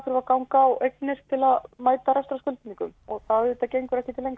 að ganga á eignir til að mæta og það auðvitað gengur ekki til